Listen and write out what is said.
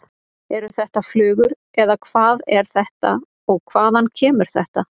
Eru þetta flugur eða hvað er þetta og hvaðan kemur þetta?